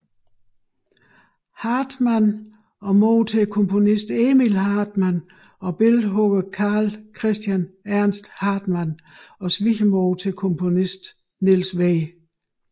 Hartmann og mor til komponisten Emil Hartmann og billedhuggeren Carl Christian Ernst Hartmann og svigermor til komponisterne Niels W